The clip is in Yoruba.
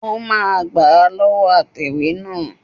Ó máa gbà á lọ́wọ́ atẹ̀wé náà